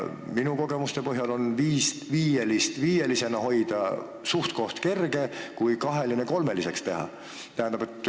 Minu kogemuste põhjal on viielist viielisena hoida suhteliselt kergem kui kaheline kolmeliseks teha.